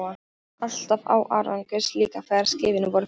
Alltaf án árangurs, líka þegar skipin voru farin.